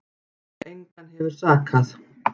Engan hefur sakað